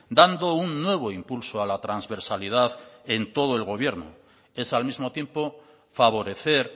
dando un nuevo impulso a la transversalidad en todo el gobierno es al mismo tiempo favorecer